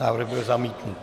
Návrh byl zamítnut.